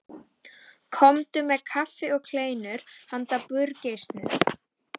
Komdu með kaffi og kleinur handa burgeisnum.